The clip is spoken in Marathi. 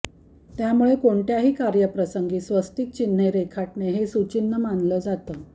त्यामुळे कोणत्याही कार्यप्रसंगी स्वस्तिक चिन्हं रेखाटणे हे सुचिन्ह मानलं जातं